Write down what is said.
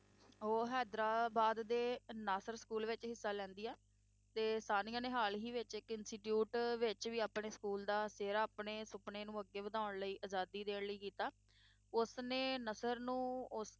ਉਹ ਹੈਦਰਾਬਾਦ ਦੇ ਨਾਸਰ school ਵਿੱਚ ਹਿੱਸਾ ਲੈਂਦੀ ਹੈ, ਤੇ ਸਾਨੀਆ ਨੇ ਹਾਲ ਹੀ ਵਿੱਚ ਇੱਕ institute ਵਿੱਚ ਵੀ ਆਪਣੇ school ਦਾ ਸਿਹਰਾ ਆਪਣੇ ਸੁਪਨੇ ਨੂੰ ਅੱਗੇ ਵਧਾਉਣ ਲਈ ਆਜ਼ਾਦੀ ਦੇਣ ਲਈ ਕੀਤਾ, ਉਸ ਨੇ ਨਸਰ ਨੂੰ ਉਸ